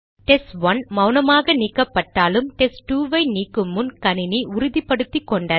test one மௌனமாக நீக்கப்பட்டாலும் test two ஐ நீக்குமுன் கணினி உறுதிபடுத்திக்கொண்டது